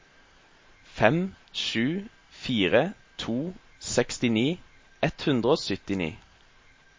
fem sju fire to sekstini ett hundre og syttini